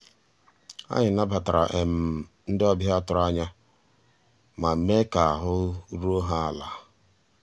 ànyị́ nabàtàrà um ndị́ ọ̀bịá tụ̀rụ̀ ànyá má meé ká àhụ́ rúó há àlà.